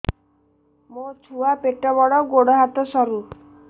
ମୋ ଛୁଆ ପେଟ ବଡ଼ ଗୋଡ଼ ହାତ ସରୁ